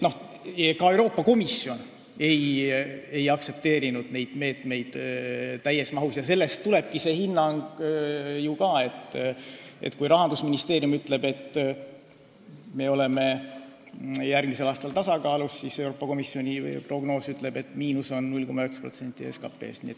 Euroopa Komisjon ei aktsepteerinud neid meetmeid täies mahus ja sellest tulebki ju ka see hinnang, et kui Rahandusministeerium ütleb, et eelarve on järgmisel aastal tasakaalus, siis Euroopa Komisjoni prognoos ütleb, et miinus on 0,9% SKT-st.